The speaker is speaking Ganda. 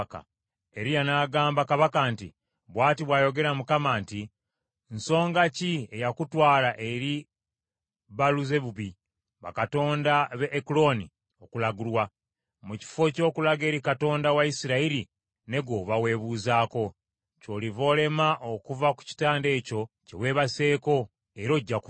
Eriya n’agamba kabaka nti, “Bw’ati bw’ayogera Mukama nti, ‘Nsonga ki eyakutwala eri Baaluzebubi bakatonda b’e Ekuloni okulagulwa, mu kifo ky’okulaga eri Katonda wa Isirayiri ne gw’oba weebuuzako?’ Ky’oliva olema okuva ku kitanda ekyo kye weebaseeko, era ojja kufa.”